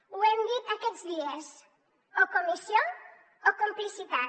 ho hem dit aquests dies o comissió o complicitat